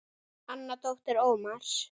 Anna dóttir Ómars.